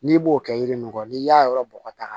N'i b'o kɛ yiri nin kɔ n'i y'a yɔrɔ bɔgɔ ta ka